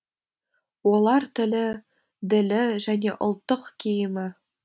олар тілі ділі және ұлттық киімі